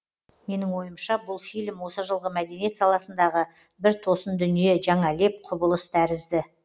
менің ойымша бұл фильм осы жылғы мәдениет саласындағы бір тосын дүние жаңа леп құбылыс тәрізді